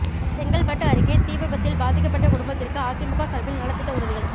செங்கல்பட்டு அருகே தீவிபத்தில் பாதிக்கப்பட்ட குடும்பத்திற்கு அதிமுக சாா்பில் நலத்திட்ட உதவிகள்